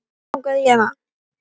Mig langaði í hana.